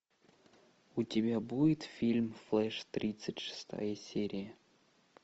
у тебя будет фильм флэш тридцать шестая серия